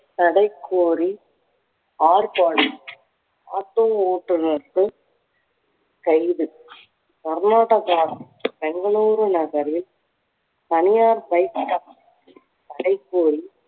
தடை கோரி auto ஓட்டுநர்கள் கைது. கர்நாடகா பெங்களூரு நகரில் தனியார் bike தடைக்கோரி